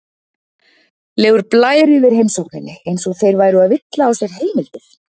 legur blær yfir heimsókninni, eins og þeir væru að villa á sér heimildir.